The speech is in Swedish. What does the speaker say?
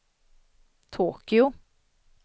Tokyo